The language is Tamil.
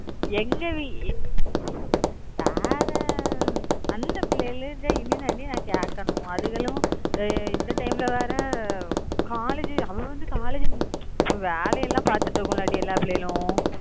எங்க டி வேற அந்த பிள்ளைங்க கிட்ட இனி தான் டி நான் கேக்கணும் அதுங்களும் இந்த time ல வேற college அவ வந்து college வேலையெல்லாம் பார்த்துட்டு இருக்கும் டி எல்லா பிள்ளைகளும்